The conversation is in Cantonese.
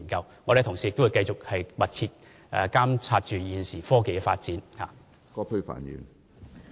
我們的同事也會密切監察現時科技的發展。